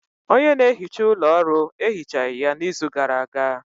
Onye na-ehicha ụlọ ọrụ anyị, ehichaghi ya n'izu gara aga.